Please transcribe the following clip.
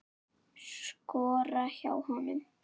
Skora hjá honum??